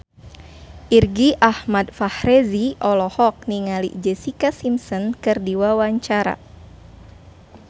Irgi Ahmad Fahrezi olohok ningali Jessica Simpson keur diwawancara